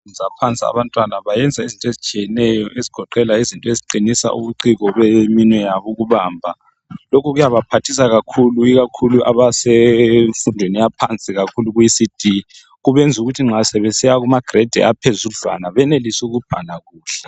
Ezikolweni zemfundo yaphansi balezifundo abazenzisayo ezingancedisa ukuqinisa amathambo eminwe ikakhulu kuEcd ukwenzela ukuthi nxa besiya kugrade1 benelise ukubhala kuhle.